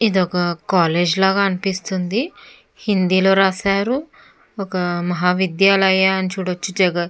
ఇది ఒక కాలేజ్ లా అనిపిస్తుంది హిందీ లో రాశారు ఒక మహా విద్యాలయ అని చూడచ్చు --